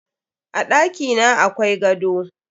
A ɗakina akwai gado.